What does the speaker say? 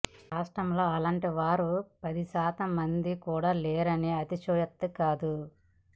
రాష్ట్రంలో అలాంటి వారు పదిశాతం మంది కూడా లేరంటే అతిశయోక్తి కాదు